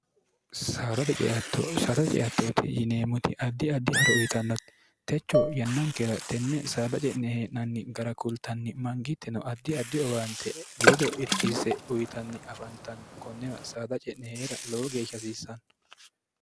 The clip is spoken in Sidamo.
saadate ceattooti yineemmoti addi addi haro uyitannotti techo yannankera tenne saada ce'ne hee'nanni gara kultanni mangiittino addi addi owaante ledo irkisse uyitanni afantanno konnera saada ce'nehee'ra lowo geeshsha hasiissanno